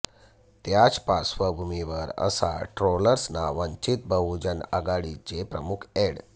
त्याच पार्श्वभूमिवर अशा ट्रोलर्सना वंचित बहुजन आघाडीचे प्रमुख अॅड